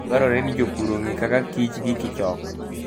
Dwarore ni jopur ong'e kaka kich gikichok.